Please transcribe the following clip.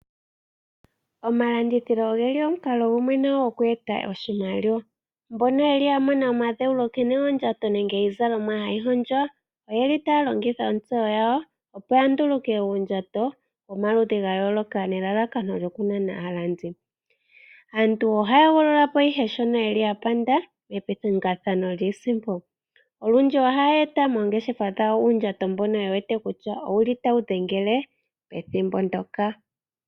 Omalandithilo ogeli omukalo gumwe gokweeta oshimaliwa. Mbono yeli yamona omadheulo nkene ondjato nenge iizalomwa hayi hondjwa, oyeli taya longitha ontseyo yawo opo yanduluke uundjato womaludhi gayooloka nelalakano okunana aalandi. Aantu ohaya hogololapo ihe shono yapanda mepingakanitho lyiisimpo olundju ohaya eta moongeshefa dhawo uundjato mbono yewete kutya owuli tawu dhengele pethimbo ndoka.